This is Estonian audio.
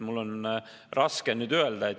Mul on raske midagi öelda.